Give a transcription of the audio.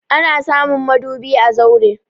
Ana samun madubi a zaure.